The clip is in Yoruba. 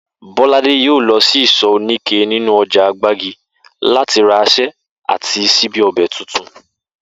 Bó̩ládé yóò lo̩ sí ìsò̩ oníké nínú o̩jà Gbági láti ra asé̩ àti s̩íbí o̩bè̩ tuntun